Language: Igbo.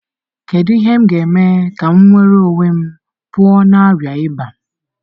Kedu ihe m ga-eme ka m nwere onwe m pụọ na arịa ịba?